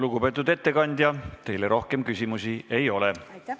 Lugupeetud ettekandja, teile rohkem küsimusi ei ole.